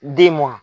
Den mɔn